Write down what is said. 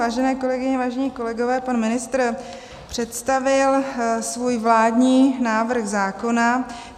Vážené kolegyně, vážení kolegové, pan ministr představil svůj vládní návrh zákona.